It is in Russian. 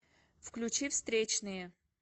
включи встречные